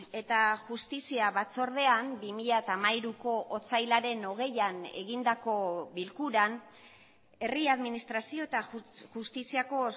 eta justizia batzordean bi mila hamairuko otsailaren hogeian egindako bilkuran herri administrazio eta justiziako